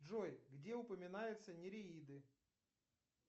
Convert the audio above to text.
джой где упоминаются нереиды